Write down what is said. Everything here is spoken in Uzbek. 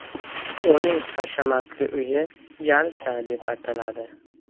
Uning hashamatli uyi Jalsa deb ataladi.